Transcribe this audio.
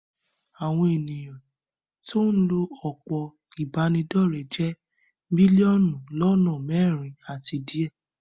Àwọn ènìyàn tí ó ń lo òpó ìbánidọ́rẹ̀ jẹ́ bílíọ̀nù lọ́nà mẹ́rin àti díẹ̀.